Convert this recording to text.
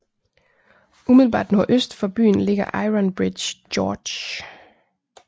Umiddelbart nordøst for byen ligger Ironbridge Gorge